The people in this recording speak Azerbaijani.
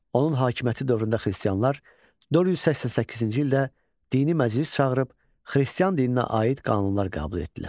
Onun hakimiyyəti dövründə xristianlar 488-ci ildə dini məclis çağırıb xristian dininə aid qanunlar qəbul etdilər.